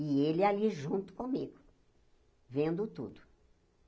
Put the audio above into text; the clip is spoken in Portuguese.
E ele ali junto comigo, vendo tudo.